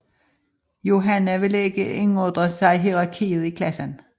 Yohanna ville ikke indordne sig hierarkiet i klassen